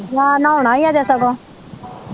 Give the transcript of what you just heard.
ਜਾ ਨਹਾਉਣਾ ਈ ਅਜੇ ਸਗੋਂ।